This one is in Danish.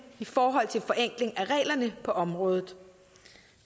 i forhold til forenkling af reglerne på området